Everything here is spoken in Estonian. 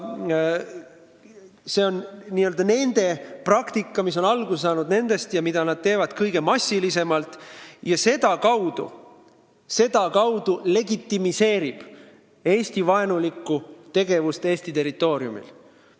See on n-ö nende praktika, mis on alguse saanud nendest ja mida nemad kõige massilisemalt kasutavad, legitimeerides sedakaudu Eesti-vaenulikku tegevust Eesti territooriumil.